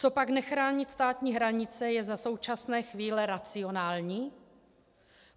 Copak nechránit státní hranice je za současné chvíle racionální?